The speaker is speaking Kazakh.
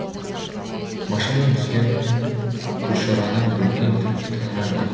машинадан түскен күлшараны бөкен тіпті танымай қалды